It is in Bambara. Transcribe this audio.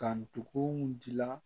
Ka ndugu dilan